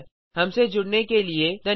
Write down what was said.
हमसे जुड़ने के लिए धन्यवाद